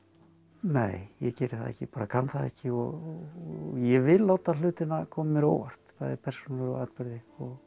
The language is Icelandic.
nei ég geri það ekki bara kann það ekki og ég vil láta hlutina koma mér á óvart bæði persónulega atburði og